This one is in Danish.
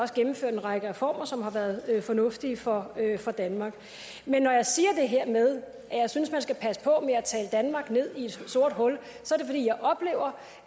gennemført en række reformer som har været fornuftige for for danmark men når jeg siger det her med at jeg synes man skal passe på med at tale danmark ned i et sort hul